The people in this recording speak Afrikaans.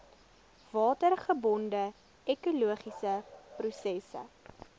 watergebonde ekologiese prosesse